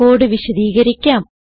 code വിശദീകരിക്കാം